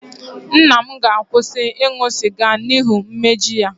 Nna m ga-akwụsị ịṅụ sịga n'ihi umeji ya